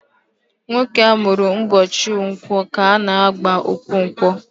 Nwoke amụrụ ụbọchị Nkwọ ka a na-aba Okonkwọ